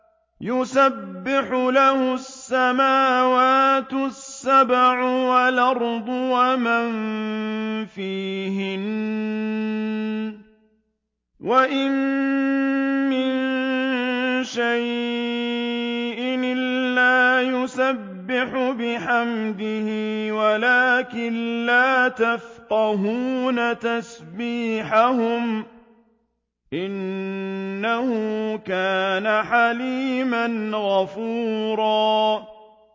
تُسَبِّحُ لَهُ السَّمَاوَاتُ السَّبْعُ وَالْأَرْضُ وَمَن فِيهِنَّ ۚ وَإِن مِّن شَيْءٍ إِلَّا يُسَبِّحُ بِحَمْدِهِ وَلَٰكِن لَّا تَفْقَهُونَ تَسْبِيحَهُمْ ۗ إِنَّهُ كَانَ حَلِيمًا غَفُورًا